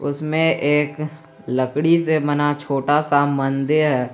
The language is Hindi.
उसमें एक लकड़ी से बना छोटा सा मंदिर है।